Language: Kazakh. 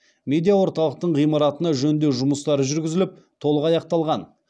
медиа орталықтың ғимаратына жөндеу жұмыстары жүргізіліп толық аяқталған